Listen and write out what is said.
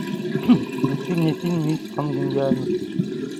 включи мне фильм мисс конгениальность